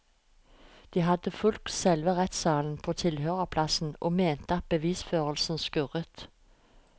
De hadde fulgt selve rettssaken på tilhørerplass og mente at bevisførselen skurret.